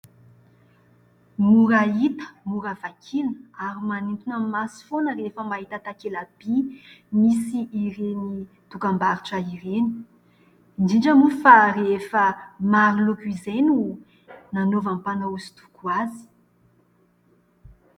Mora hita, mora vakiana ary manintona ny maso foana rehefa mahita takela-by misy ireny dokambarotra ireny, indindra moa fa rehefa maro loko izay no nanaovan'ny mpanao hosodoko azy.